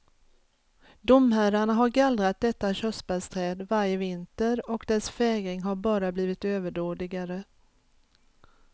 Domherrarna har gallrat detta körsbärsträd varje vinter och dess fägring har bara blivit överdådigare.